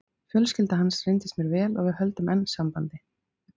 Fjölskylda hans reyndist mér vel og við höldum enn sambandi.